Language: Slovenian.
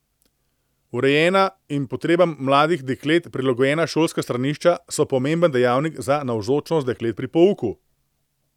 Urejena in potrebam mladih deklet prilagojena šolska stranišča so pomemben dejavnik za navzočnost deklet pri pouku.